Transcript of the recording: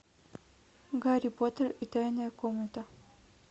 гарри поттер и тайная комната